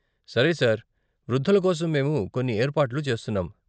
సరే సార్, వృద్ధుల కోసం మేము కొన్ని ఏర్పాట్లు చేస్తున్నాం.